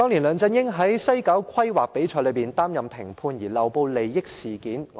梁振英在西九規劃比賽擔任評判，漏報利益。